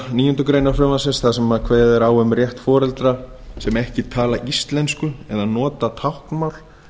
níundu grein frumvarpsins þar sem er kveðið á um rétt foreldra sem ekki tala íslensku eða nota táknmál